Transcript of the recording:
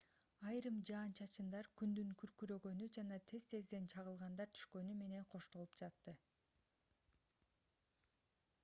айрым жаан-чачындар күндүн күркүрөгөнү жана тез-тезден чагылгандар түшкөнү менен коштолуп жатты